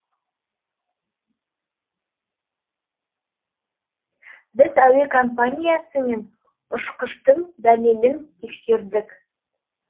біз әуе компаниясы мен ұшқыштың дәлелін тексердік